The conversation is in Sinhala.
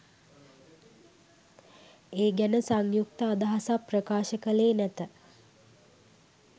ඒ ගැන සංයුක්ත අදහසක් ප්‍රකාශ කළේ නැත